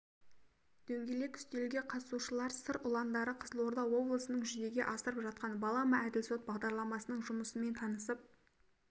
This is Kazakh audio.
дөңгелек үстелге қатысушылар сыр ұландары қызылорда облысында жүзеге асырып жатқан балама әділ сот бағдарламасының жұмысымен танысып